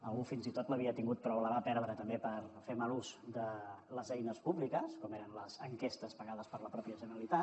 algú fins i tot l’havia tingut però la va perdre també per fer mal ús de les eines públiques com eren les enquestes pagades per la mateixa generalitat